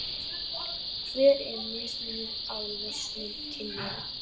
Hver er mismunur á launum kynjanna?